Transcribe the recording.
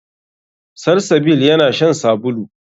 Salsabil yana shan sabulu.